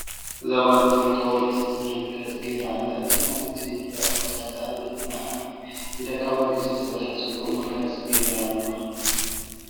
እዛ ጓለ ኣነስተይቲ ካብ ወርቂ ዝተሰርሓ መጋየፂ ገይራ ኣላ። እዚ ጓል ኣነስተይቲ ኣብ ክሳዳ፣ ኣብ እዝና፣ ኣብ ኢዳ ካብ ወርቂ ዝተሰርሓ ፅቡቅ መጋየፂ ገይራ ኣላ።